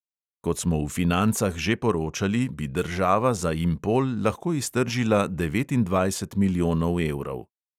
Kot smo v financah že poročali, bi država za impol lahko iztržila devetindvajset milijonov evrov.